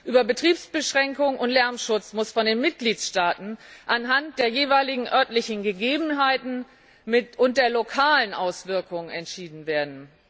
Über Betriebsbeschränkungen und Lärmschutz muss von den Mitgliedstaaten anhand der jeweiligen örtlichen Gegebenheiten und der lokalen Auswirkungen entschieden werden.